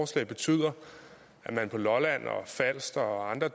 til at betyde at man på lolland og falster og andre